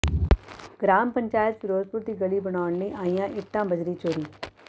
ਗਰਾਮ ਪੰਚਾਇਤ ਫ਼ਿਰੋਜ਼ਪੁਰ ਦੀ ਗਲੀ ਬਣਾਉਣ ਲਈ ਆਈਆਂ ਇੱਟਾਂ ਬੱਜਰੀ ਚੋਰੀ